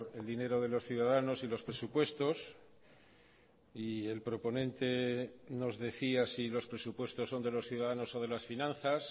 el dinero de los ciudadanos y los presupuestos y el proponente nos decía si los presupuestos son de los ciudadanos o de las finanzas